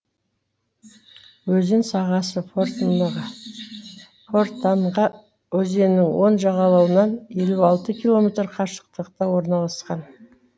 өзен сағасы фортанга өзенінің оң жағалауынан елу алты километр қашықтықта орналасқан